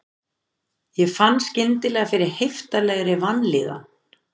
Ég fann skyndilega fyrir heiftarlegri vanlíðan.